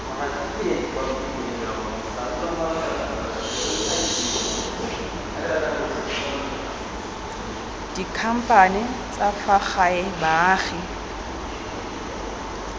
dikhamphane tsa fa gae baagi